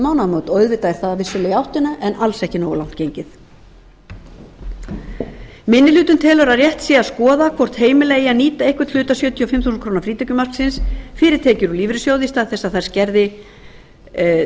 mánaðamót og auðvitað er það vissulega i áttina en alls ekki nógu langt gengið minni hlutinn telur að rétt sé að skoða hvort heimila eigi að nýta einhvern hluta sjötíu og fimm þúsund krónur frítekjumarksins fyrir tekjur úr lífeyrissjóði í stað þess að þær